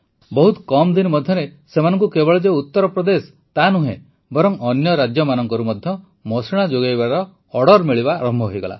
ବହୁତ କମ ଦିନ ମଧ୍ୟରେ ସେମାନଙ୍କୁ କେବଳ ଯେ ଉତରପ୍ରଦେଶ ତା ନୁହେଁ ବରଂ ଅନ୍ୟ ରାଜ୍ୟମାନଙ୍କରୁ ମଧ୍ୟ ମଶିଣା ଯୋଗାଇବାର ଅର୍ଡ଼ର ମିଳିବା ଆରମ୍ଭ ହୋଇଗଲା